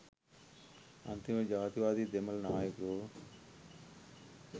අන්තිමට ජාතිවාදි දෙමළ නායකයෝ